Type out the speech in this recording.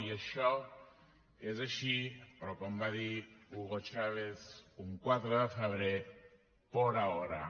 i això és així però com va dir hugo chávez un quatre de febrer por ahora